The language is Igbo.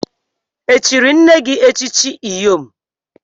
Echiri nne echichi Iyom?